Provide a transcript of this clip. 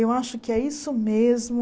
Eu acho que é isso mesmo.